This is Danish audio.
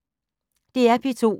DR P2